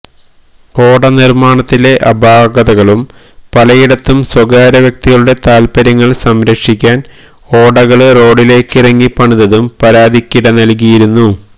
ഓട നിര്മാണത്തിലെ അപാകതകളും പലയിടത്തും സ്വകാര്യവ്യക്തികളുടെ താല്പര്യങ്ങള് സംരക്ഷിക്കാന് ഓടകള് റോഡിലേക്കിറക്കി പണിതതും പരാതിക്കിട നല്കിയിരുന്നു